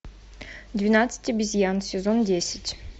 двенадцать обезьян сезон десять